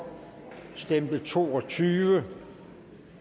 stemte to og tyve